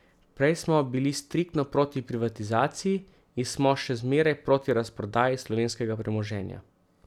Prej smo bili striktno proti privatizaciji in smo še zmeraj proti razprodaji slovenskega premoženja.